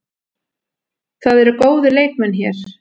Það eru góðir leikmenn hér.